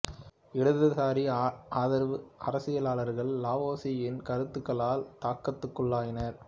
இடதுசாரி ஆதரவு அரசியலாளர்கள் லாவோ சீ யின் கருத்துக்களால் தாக்கத்துக்குள்ளாயினர்